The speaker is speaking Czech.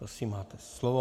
Prosím, máte slovo.